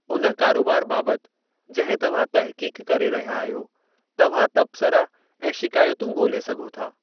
उन कारोबार बाबति जंहिं तव्हां तहक़ीक़ करे रहिया आहियो, तव्हां तबसरा ऐं शिकायतूं ॻोल्हे सघो था।